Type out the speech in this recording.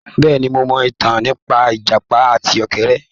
Bẹ́ẹ̀ni, mo mọ ìtàn nípa ìjàpá àti ọ̀kẹ́rẹ́.